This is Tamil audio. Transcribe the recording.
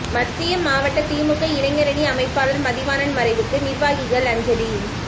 மத்திய மாவட்ட திமுக இளைஞரணி அமைப்பாளர் மதிவாணன் மறைவுக்கு நிர்வாகிகள் அஞ்சலி